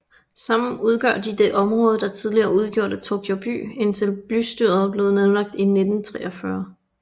Sammen udgør de det område der tidligere udgjorde Tokyo By indtil bystyret blev nedlagt i 1943